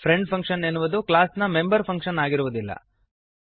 friend function ಎನ್ನುವುದು class ನ member function ಆಗಿರುವದಿಲ್ಲ